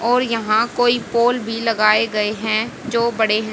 और यहां कोई पोल भी लगाए गए हैं जो बड़े--